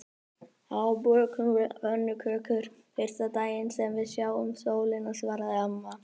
Þá bökum við pönnukökur fyrsta daginn sem við sjáum sólina svaraði amma.